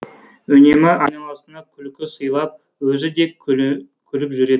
үнемі айналасына күлкі сыйлап өзі де күліп жүретін